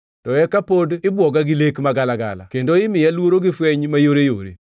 to eka pod ibwoga gi lek magalagala kendo imiya luoro gi fweny mayoreyore,